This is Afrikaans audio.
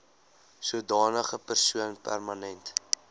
sodanige persoon permanent